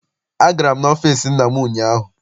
Agara m n'ọfịịsi nna m ụnyaahụ.